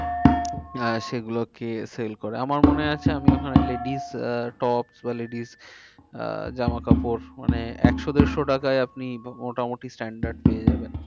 আহ সেগুলোকে sell করে। আমার মনে আছে আমি ওখানে ladies আহ tops বা ladies আহ জামা কাপড় মানে একশো দেড়শো টাকায় আপনি মোটামুটি standard পেয়ে যাবেন।